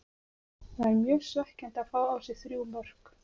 Það er mjög svekkjandi að fá á sig þrjú mörk.